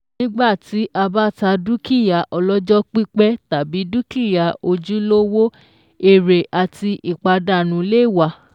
Nígbà tí a bá ta dúkìá ọlọ́jọ́ pípẹ́ tàbí dúkìá ojúlówó, ère àti ìpàdánù lè wà.